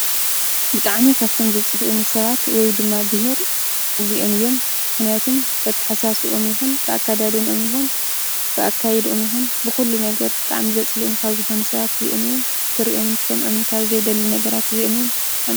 ብጣዕሚ ካብቶም ዘፅልኡኒ ሰባት ወይ ድማ ብሄር እዚኦም እዮም:: ምኽንያቱ በተሓሳስብኦም ይኩን ብኣካዳድኖም ብኣካይድኦም ይኩን ብኩሉ ነገር ብጣዕሚ ዘፅልኡኒ ካብ ዝኮኑ ሰባት ኣዚኦም እዮም:: ክሪኦምን ክሰምዕምን ካብ ዘይደሊ ነገራት እዚኦም እዮም::